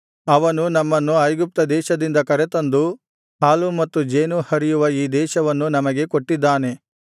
ಅವನು ನಮ್ಮನ್ನು ಐಗುಪ್ತದೇಶದಿಂದ ಕರೆತಂದು ಹಾಲೂ ಮತ್ತು ಜೇನೂ ಹರಿಯುವ ಈ ದೇಶವನ್ನು ನಮಗೆ ಕೊಟ್ಟಿದ್ದಾನೆ